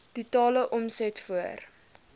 totale omset voor